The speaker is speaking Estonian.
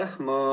Aitäh!